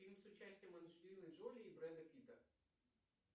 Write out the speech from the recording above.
фильм с участием анджелины джоли и брэда питта